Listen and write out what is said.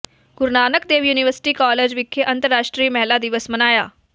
ਗੁਰੂ Nanak Dev university college ਵਿਖੇ ਅੰਤਰਰਾਸ਼ਟਰੀ ਮਹਿਲਾ ਦਿਵਸ ਮਨਾਇਆ